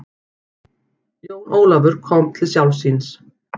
Jón Ólafur kom til sjálfs sín.